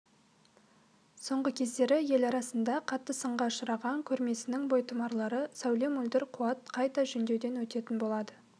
соңғы кездері ел арасында қатты сынға ұшыраған көрмесінің бойтұмарлары сәуле мөлдір қуат қайта жөндеуден өтетін болады